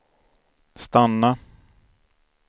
stanna